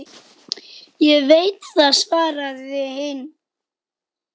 Ég veit það, svaraði hinn.